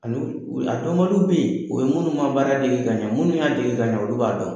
Ani a dɔnbali bɛ yen o ye minnu ma baara dege ka ɲɛ minnu y'a dege ka ɲɛ olu b'a dɔn